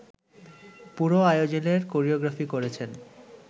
পুরো আয়োজনের কোরিওগ্রাফি করেছেন